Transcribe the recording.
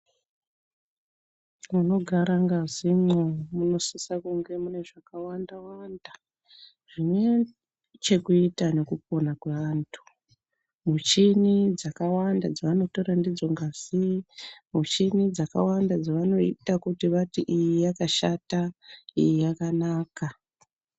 Munogara ngazi mo munosisa kuva mune zvakawanda zvine chekuita ngekupona kwevantu muchini dzakawanda dzavanotora ndidzongazi muchini dzavanoita kuti iyi yakashata iyi yakanaka .